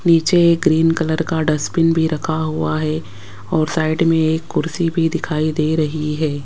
नीचे ये green colour का डस्टबिन भी रखा हुआ है और साइड में एक कुर्सी भी दिखाई दे रही है।